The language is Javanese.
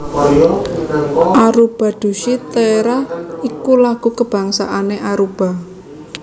Aruba Dushi Tera iku lagu kabangsané Aruba